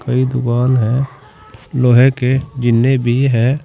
कई दुकान है लोहे के जिन्ने भी है।